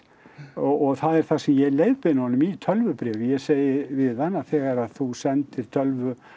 og það er það sem ég leiðbeini honum í tölvubréfi ég segi við hann að þegar að þú sendir tölvu